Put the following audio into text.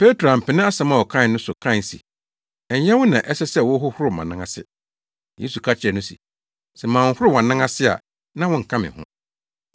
Petro ampene asɛm a ɔkae no so kae se, “Ɛnyɛ wo na ɛsɛ sɛ wohohoro mʼanan ase.” Yesu ka kyerɛɛ no se, “Sɛ manhohoro wʼanan ase a na wonka me ho.”